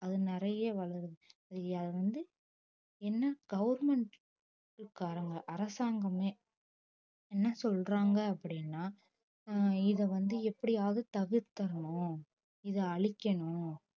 அது நிறைய வளருது சரி அது வந்து ஏன்னா government காரங்க அரசாங்கமே என்ன சொல்றாங்க அப்படின்னா ஆஹ் இதை வந்து எப்படியாவது தவிர்த்திடணும் இதை அழிக்கணும்